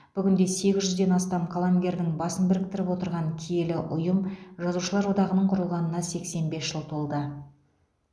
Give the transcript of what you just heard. бүгінде сегіз жүзден астам қаламгердің басын біріктіріп отырған киелі ұйым жазушылар одағының құрылғанына сексен бес жыл толды